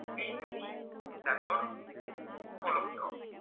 প্ৰান্ত